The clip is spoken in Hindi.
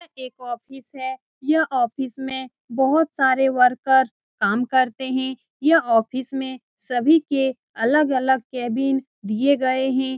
यह एक ऑफिस है यह ऑफिस में बहुत सारे वर्कर काम करते हैं यह ऑफिस में सभी के अलग-अलग केबिन दिए गए हैं।